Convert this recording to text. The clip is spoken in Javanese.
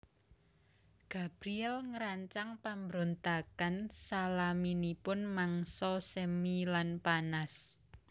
Gabriel ngrancang pambrontakan salaminipun mangsa semi lan panas